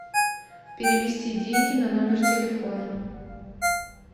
перевести деньги на номер телефона